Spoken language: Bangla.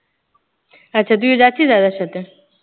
আচ্ছা তুইও যাচ্ছিস দাদার সাথে?